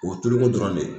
O ye tuluko dɔrɔn de ye